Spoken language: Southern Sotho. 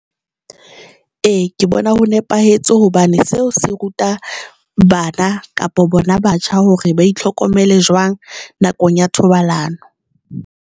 E, ke bona ho nepahetse hobane seo se ruta bana kapa bona batjha hore ba itlhokomele jwang nakong ya thobalano.